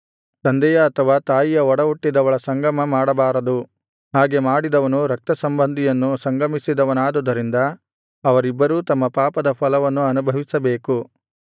ತಂದೆಯ ಅಥವಾ ತಾಯಿಯ ಒಡಹುಟ್ಟಿದವಳ ಸಂಗಮ ಮಾಡಬಾರದು ಹಾಗೆ ಮಾಡಿದವನು ರಕ್ತಸಂಬಂಧಿಯನ್ನು ಸಂಗಮಿಸಿದವನಾದುದರಿಂದ ಅವರಿಬ್ಬರೂ ತಮ್ಮ ಪಾಪದ ಫಲವನ್ನು ಅನುಭವಿಸಬೇಕು